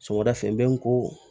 Sɔgɔmada fɛ n bɛ n ko